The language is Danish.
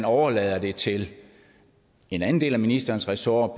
overladt til en anden del af ministerens ressort